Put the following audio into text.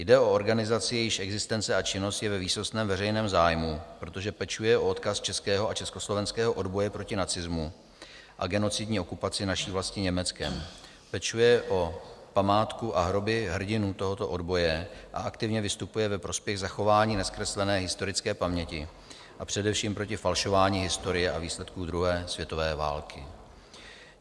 Jde o organizaci, jejíž existence a činnost je ve výsostném veřejném zájmu, protože pečuje o odkaz českého i československého odboje proti nacismu a genocidní okupaci naší vlasti Německem, pečuje o památku a hroby hrdinů tohoto odboje a aktivně vystupuje ve prospěch zachování nezkreslené historické paměti a především proti falšování historie a výsledků druhé světové války.